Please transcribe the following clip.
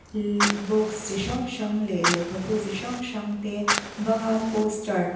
ihh box chi hrang hrang leh lehkhabu chi hrang hrang te bang a poster --